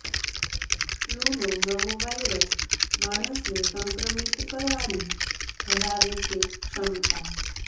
ફલૂનો નવો વાયરસ માણસને સંક્રમિત કરવાની ધરાવે છે ક્ષમતા